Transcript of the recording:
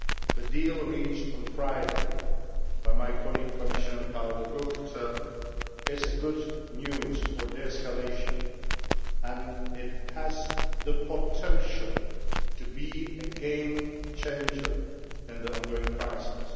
The deal reached on Friday by my colleague Commissioner Karel De Gucht is good news for de escalation, and it has the potential to be a game changer in the ongoing crisis.